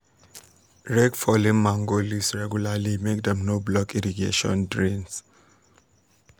rake fallen mango leaves regularly make dem no block irrigation drains